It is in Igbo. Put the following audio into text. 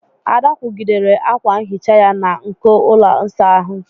Ada kwụgidere akwa nhicha ya na nko ụlọ ịsa ahụ.